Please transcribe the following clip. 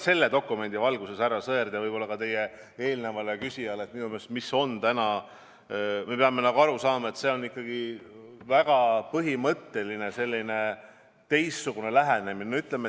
Selle dokumendi valguses vastan ma teile, härra Sõerd, ja võib-olla ka eelmisele küsijale, et me peame aru saama, et see on põhimõtteliselt ikkagi väga teistsugune lähenemine.